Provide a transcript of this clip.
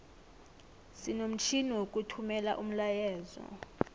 sinomtjhini wokuthumela umlayeezo